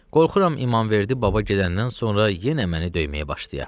Qorxuram İmanverdi baba gedəndən sonra yenə məni döyməyə başlaya.